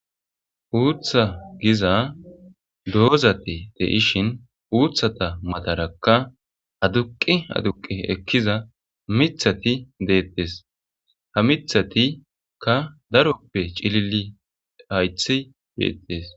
Uuththa giza doozati deishshin uuthata matarakka aduqi aduqi ekkiza miththati deettes ha mithatikka daroppe cilili hayththi deettes